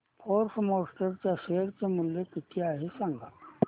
force Motors च्या share चे मूल्य किती आहे सांगा